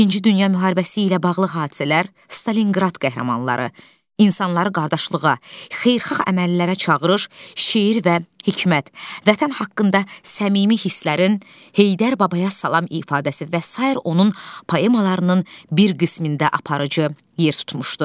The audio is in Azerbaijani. İkinci Dünya müharibəsi ilə bağlı hadisələr, Stalinqrad qəhrəmanları, insanları qardaşlığa, xeyirxah əməllərə çağırış, şeir və hikmət, Vətən haqqında səmimi hisslərin, Heydər babaya salam ifadəsi və sair onun poemalarının bir qismində aparıcı yer tutmuşdu.